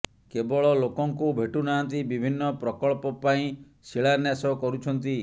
କେବଳ ଲୋକଙ୍କୁ ଭେଟୁ ନାହାଁନ୍ତି ବିଭିନ୍ନ ପ୍ରକଳ୍ପ ପାଇଁ ଶିଳାନ୍ୟାସ କରୁଛନ୍ତି